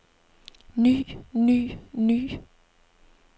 ny ny ny